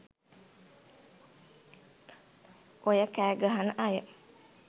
ඔය කෑ ගහන අය